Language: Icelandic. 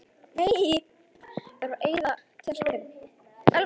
Hann heitir einmitt Matthías og er svona dáldið svartur og ljótur.